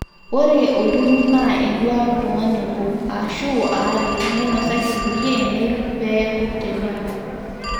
ore olturrur naa enduaata oltung'ani obo aashu aare neinosaki irkulie neiruk pee eeku tenebo